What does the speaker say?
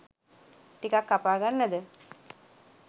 ටිකක්‌ කපා ගන්නද